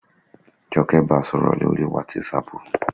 Jọkẹ́ ba sọ̀rọ̀ lórii wátísapù